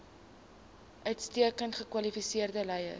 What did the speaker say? uitstekend gekwalifiseerde leiers